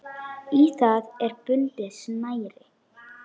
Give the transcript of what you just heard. Í það er bundið snæri.